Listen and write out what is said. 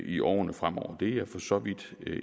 i årene fremover det er jeg for så vidt